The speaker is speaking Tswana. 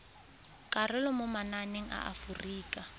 karolo mo mananeng a aforika